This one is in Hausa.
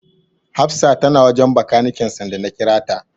Hafsa tana wajen Bakaniken sanda na kira ta.